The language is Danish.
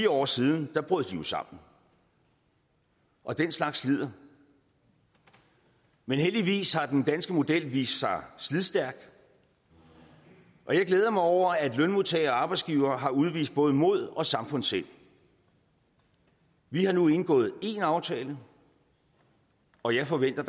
år siden brød de jo sammen og den slags slider men heldigvis har den danske model vist sig slidstærk og jeg glæder mig over at lønmodtagere og arbejdsgivere har udvist både mod og samfundssind vi har nu indgået én aftale og jeg forventer